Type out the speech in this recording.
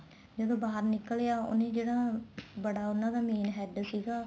ਜਦੋਂ ਬਾਹਰ ਨਿੱਕਲਿਆ ਉਹਨੇ ਜਿਹੜਾ ਬੜਾ ਉਹਨਾ ਦਾ main head ਸੀਗਾ